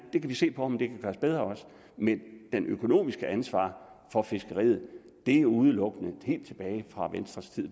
vi kan se på om det kan gøres bedre men det økonomiske ansvar for fiskeriet er udelukkende venstres